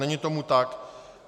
Není tomu tak.